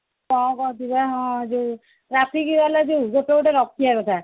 କଣ କହୁଛି ପା ହଁ ଯୋଉ traffic ବାଲା ଯୋଉ ଗୋଟେ ଗୋଟେ ରହିବା କଥା